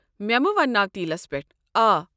مے٘ مہٕ ونٛناو تیلس پیٹھ، آ۔۔۔